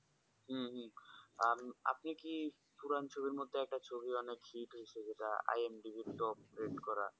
হুম হুম আর আপনি কি পুরান ছবির মধ্যে একটা ছবি অনেক hit হয়েছে যেটা IMDBtop rate করা